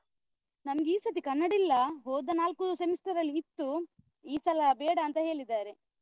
ನಮ್ಗೆ ಈಸತಿ ಕನ್ನಡ ಇಲ್ಲ , ಹೋದ ನಾಲ್ಕು semester ಅಲ್ಲಿ ಇತ್ತು ಈ ಸಲ ಬೇಡ ಅಂತ ಹೇಳಿದ್ದಾರೆ.